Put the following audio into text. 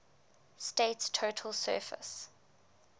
state's total surface